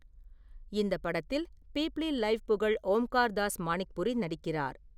இந்த படத்தில் பீப்ளி லைவ் புகழ் ஓம்கார் தாஸ் மாணிக்புரி நடிக்கிறார்.